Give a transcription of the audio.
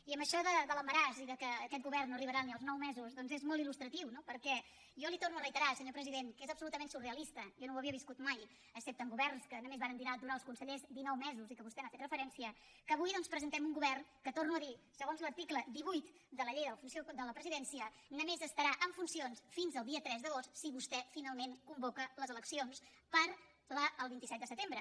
i amb això de l’embaràs i que aquest govern no arribarà ni als nou mesos doncs és molt ilno perquè jo li ho torno a reiterar senyor president que és absolutament surrealista jo no ho havia viscut mai excepte en governs en què només varen durar els consellers dinou mesos i vostè hi ha fet referència que avui doncs presentem un govern que ho torno a dir segons l’article divuit de la llei de la presidència només estarà en funcions fins al dia tres d’agost si vostè finalment convoca les eleccions per al vint set de setembre